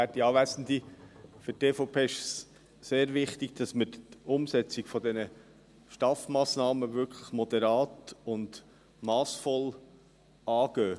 Für die EVP ist es sehr wichtig, dass man die Umsetzung der STAF-Massnahmen wirklich moderat und massvoll angeht.